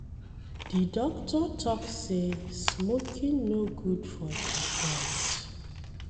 Di doctor tok sey smoking no good for di health.